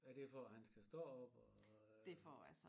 Er det for at han skal stå op og øh?